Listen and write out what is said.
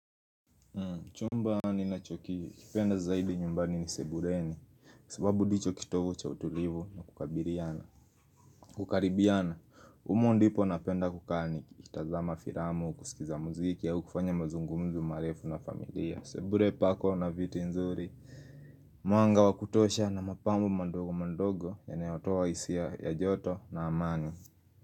Chumba ninachokikipenda zaidi nyumbani ni sebuleni sababu ndicho kitovu cha utulivu na kukabiliana Kukaribiana, humo ndipo napenda kukaa niKitazama filamu, kusikiza muziki, au kufanya mazungumzo marefu na familia sebule pako na viti nzuri Mwanga wa kutosha na mapambo madogo madogo Yanayotoa hisia ya joto na amani.